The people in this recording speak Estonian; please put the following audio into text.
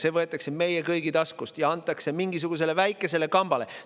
See võetakse meie kõigi taskust ja antakse mingisugusele väikesele kambale.